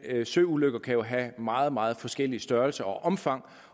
søulykker kan have meget meget forskellig størrelse og omfang